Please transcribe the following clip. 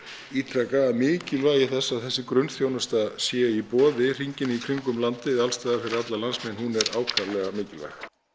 ítreka mikilvægi þess að þessi grunnþjónusta sé í boði hringinn í kringum landið alls staðar fyrir alla landsmenn hún er ákaflega mikilvæg